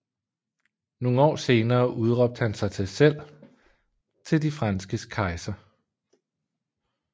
Nogle år senere udråbte han sig selv til De franskes kejser